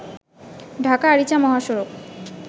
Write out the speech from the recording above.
ঢাকা আরিচা মহাসড়ক